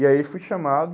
E aí fui chamado...